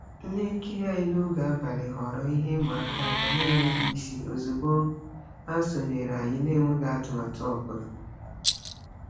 Ihe nkiri anyị n'oge abalị ghọọrọ ihe ịma aka aka n'enweghị isi ozigbo ha sonyere anyị n'enweghị atụmatụ ọbụla.